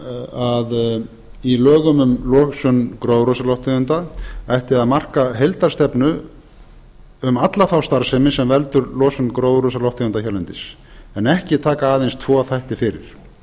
að í lögum um losun gróðurhúsalofttegunda ætti að marka heildarstefnu um alla þá starfsemi sem veldur losun gróðurhúsalofttegunda hérlendis en ekki taka aðeins tvo þætti fyrir